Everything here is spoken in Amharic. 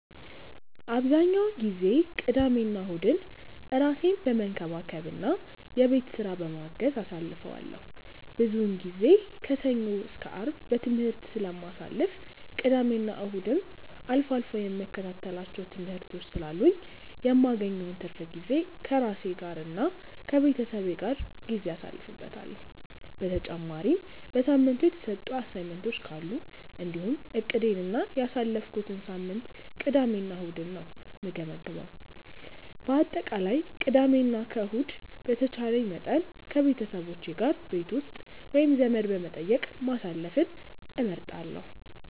አብዛኛውን ጊዜ ቅዳሜና እሁድን ራሴን በመንከባከብ እና የቤት ስራ በማገዝ አሳልፈዋለሁ። ብዙውን ጊዜ ከሰኞ እስከ አርብ በትምህርት ስለማሳልፍ እና ቅዳሜና እሁድም አልፎ አልፎ የምከታተላቸው ትምህርቶች ስላሉኝ የማገኘውን ትርፍ ጊዜ ከራሴ ጋር እና ከቤተሰቤ ጋር ጊዜ አሳልፍበታለሁ። በተጨማሪም በሳምንቱ የተሰጡ አሳይመንቶች ካሉ እንዲሁም እቅዴን እና ያሳለፍኩትን ሳምንት ቅዳሜ እና እሁድ ነው የምገመግመው። በአጠቃላይ ቅዳሜ እና ከእሁድ በተቻለኝ መጠን ከቤተሰቦቼ ጋር ቤት ውስጥ ወይም ዘመድ በመጠየቅ ማሳለፍን እመርጣለሁ።